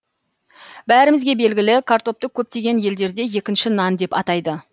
бәрімізге белгілі картопты көптеген елдерде екінші нан деп атайды